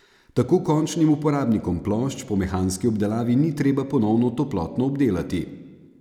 Tako končnim uporabnikom plošč po mehanski obdelavi ni treba ponovno toplotno obdelati.